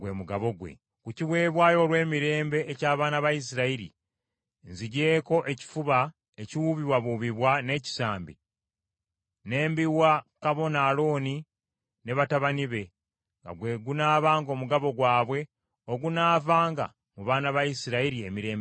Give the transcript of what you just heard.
Ku kiweebwayo olw’emirembe eky’abaana ba Isirayiri, nzigyeko ekifuba ekiwuubibwawuubibwa n’ekisambi, ne mbiwa kabona Alooni ne batabani be, nga gwe gunaabanga omugabo gwabwe ogunaavanga mu baana ba Isirayiri emirembe gyonna.”